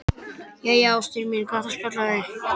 Jæja, ástin mín, gott að spjalla við þig.